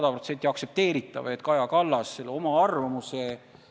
Ja siiralt: me enne arutasime kolleegidega, et võib-olla peab ka muutma seaduses midagi.